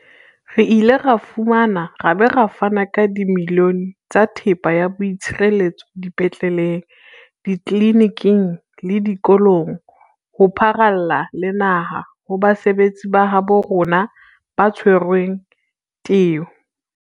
Re ile ra fumana ra ba ra fana ka dimilione tsa thepa ya boitshireletso dipetleleng, ditleliniking le dikolong ho pharalla le naha ho basebetsi ba habo rona ba tshwereng teu.